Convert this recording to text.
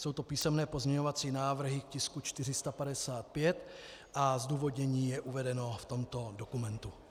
Jsou to písemné pozměňovací návrhy k tisku 455 a zdůvodnění je uvedeno v tomto dokumentu.